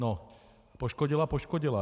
No, poškodila - poškodila.